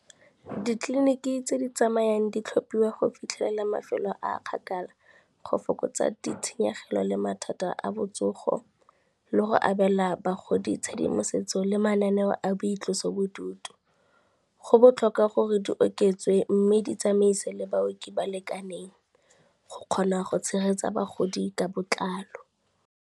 Ditleliniki tse di tsamayang di tlhophiwa go fitlhelela mafelo a a kgakala, go fokotsa ditshenyegelo le mathata a botsogo le go abela bagodi tshedimosetso le mananeo a boitloso bodutu. Go botlhokwa gore di oketswe mme ditsamaise le baoki ba lekaneng, go kgona go tshegetsa bagodi ka botlalo.